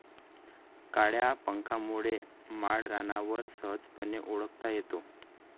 काळ्या पंखांमुळे माळरानावर सहजपणे ओळखता येतो.